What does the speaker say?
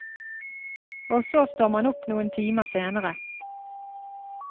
Og så står man opp noen timer senere.